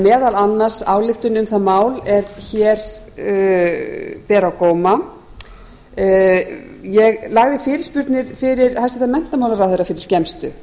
meðal annars ályktun um það mál er hér ber á góma ég lagði fyrirspurnir fyrir hæstvirtan menntamálaráðherra fyrir skemmstu